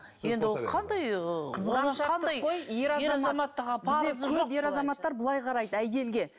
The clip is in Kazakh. енді ол қандай ыыы қызғаншақтық қой ер азаматтар былай қарайды әйелге